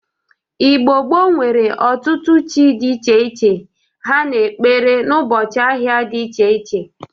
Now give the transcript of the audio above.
Igbo gboo nwere ọtụtụ chi dị iche iche ha na-ekpere n'ụbọchị ahịa Igbo dị iche iche.